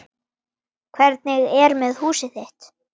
Hvernig er með húsið þitt